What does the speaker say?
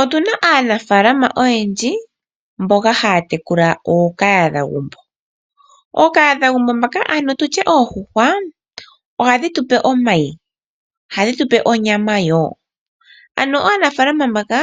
Otu na aanafalama oyendji mboka haya tekula ookahadhagumbo ano tu tye oondjuhwa ohadhi tupe omayi ohadhi tupe onyama wo ano aanafalama mbaka